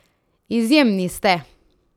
Izjemni ste!